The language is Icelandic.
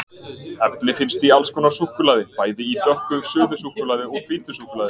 Efni finnst í alls konar súkkulaði, bæði í dökku suðusúkkulaði og hvítu súkkulaði.